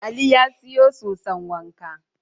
Ali ya sayo soson wanka.